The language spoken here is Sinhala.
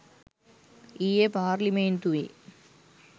ඊයේ පාර්ලිමේන්තුවේ